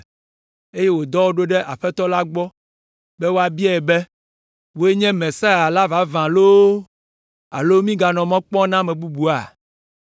eye wòdɔ wo ɖo ɖe Aƒetɔ la gbɔ be woabiae be, “Wòe nye Mesia la vavã loo alo míganɔ mɔ kpɔm na ame bubua?”